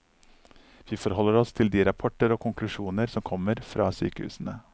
Vi forholder oss til de rapporter og konklusjoner som kommer fra sykehusene.